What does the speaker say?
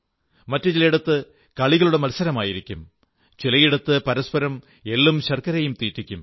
മറ്റു ചിലയിടത്ത് കളികളുടെ മത്സരമായിരിക്കും ചിലയിടത്ത് പരസ്പരം എള്ളും ശർക്കരയും തീറ്റിക്കും